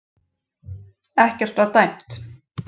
Ekkert var dæmt